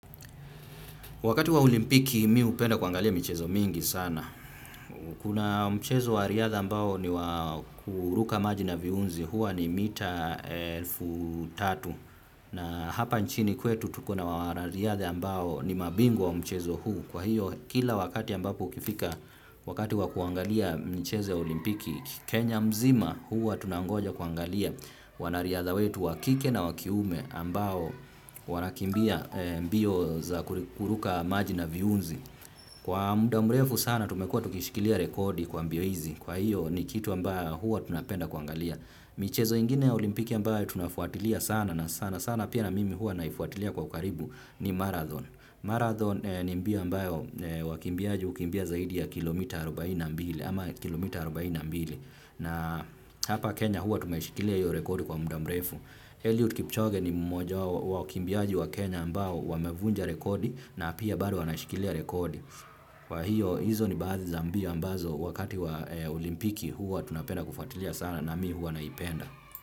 Wakati wa olimpiki mi hupenda kuangalia mchezo mingi sana. Kuna mchezo wa riadha ambao ni wakuruka maji na viunzi huwa ni mita elfu tatu na hapa nchini kwetu tuko na wanariadha ambao ni mabingwa wa mchezo huu. Kwa hiyo kila wakati ambapo ukifika wakati wakuangalia mcheze olimpiki Kenya mzima huwa tunangoja kuangalia wanariadha wetu wakike na wakiume ambao wanakimbia mbio za kuruka maji na viunzi. Kwa muda mrefu sana tumekua tukishikilia rekodi kwa mbio hizi. Kwa hiyo ni kitu ambayo huwa tunapenda kuangalia. Michezo ingine olimpiki ambayo tunafuatilia sana na sana sana pia na mimi huwa naifuatilia kwa karibu ni marathon. Marathon ni mbio ambayo wakimbiaji hukimbia zaidi ya kilomita arobaini na mbili ama kilomita arobaini na mbili na hapa Kenya hua tumeshikilia hiyo rekodi kwa muda mrefu. Eluid Kipchoge ni mmoja wakimbiaji wa Kenya ambayo wamevunja rekodi na pia bado wanaishikilia rekodi. Kwa hiyo hizo ni baadhi za mbio ambazo wakati wa olimpiki hua tunapenda kufatilia sana na mi hua naipenda.